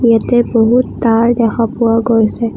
ইয়াতে বহুত তাঁৰ দেখা পোৱা গৈছে।